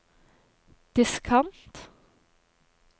diskant